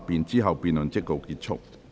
之後辯論即告結束。